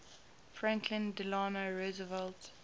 franklin delano roosevelt